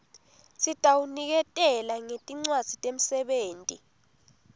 sitawuniketela ngetincwadzi temsebenti